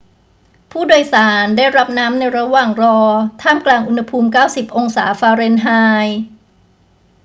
ผู้โดยสารได้รับน้ำในระหว่างรอท่ามกลางอุณหภูมิ 90 องศาฟาเรนไฮต์